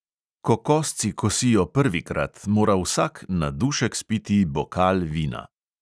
Ko kosci kosijo prvikrat, mora vsak na dušek spiti bokal vina.